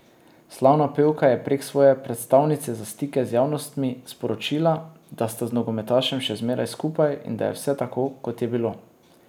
Slavna pevka je prek svoje predstavnice za stike z javnostmi sporočila, da sta z nogometašem še zmeraj skupaj in da je vse tako, kot je bilo.